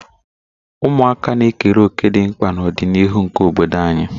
Ụmụaka na-ekere òkè dị mkpa n'ọdịniihu nke obodo anyị.